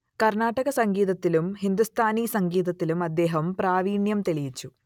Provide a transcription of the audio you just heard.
കർണാടക സംഗീതത്തിലും ഹിന്ദുസ്ഥാനി സംഗീതത്തിലും അദ്ദേഹം പ്രാവീണ്യം തെളിയിച്ചു